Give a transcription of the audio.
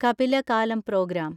കപില കാലം പ്രോഗ്രാം